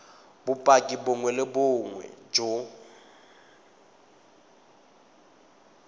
bopaki bongwe le bongwe jo